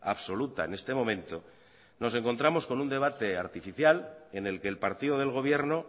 absoluta en este momento nos encontramos con un debate artificial en el que el partido del gobierno